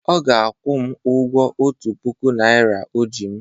Ọ ga-akwụ m ụgwọ otu puku naira o ji m.